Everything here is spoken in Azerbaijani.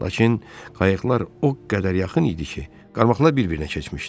Lakin qayıqlar o qədər yaxın idi ki, qarmaqlar bir-birinə keçmişdi.